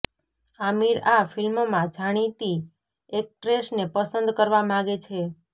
આમિર આ ફિલ્મમાં જાણીતી ઍક્ટ્રેસને પસંદ કરવા માગે છે